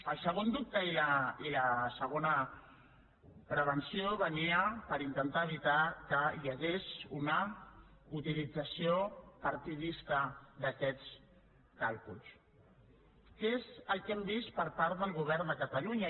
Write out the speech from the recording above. el segon dubte i la segona prevenció venia per intentar evitar que hi hagués una utilització partidista d’aquests càlculs que és el que hem vist per part del govern de catalunya